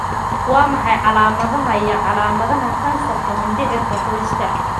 Waa maxay calaamadaha iyo calaamadaha kansarka mindhicirka qoyska?